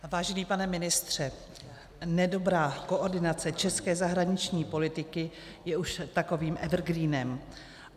Vážený pane ministře, nedobrá koordinace české zahraniční politiky je už takovým evergreenem.